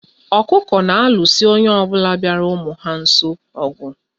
Okuku na-alụso onye ọbụna bịara ụmụ ya nso ogu